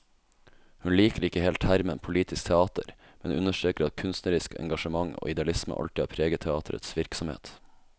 Hun liker ikke helt termen politisk teater, men understreker at kunstnerisk engasjement og idealisme alltid har preget teaterets virksomhet.